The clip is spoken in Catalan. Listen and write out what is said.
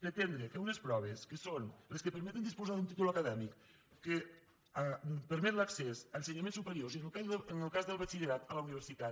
pretendre que unes proves que són les que permeten disposar d’un títol acadèmic que permet l’accés a ensenyaments supe riors i en el cas del batxillerat a la universitat